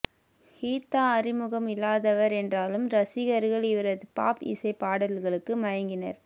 ஹிதா அறிமுகம் இல்லாதவர் என்றாலும் ரசிகர்கள் இவரது பாப் இசை பாடல்களுக்கு மயங்கினர்